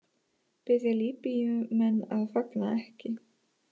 Biðja Líbýumenn að fagna ekki